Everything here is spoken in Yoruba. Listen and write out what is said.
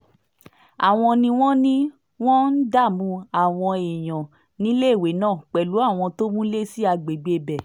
àwọn ni wọ́n ní wọ́n ń dààmú àwọn èèyàn níléèwé náà pẹ̀lú àwọn tó múlé sí àgbègbè ibẹ̀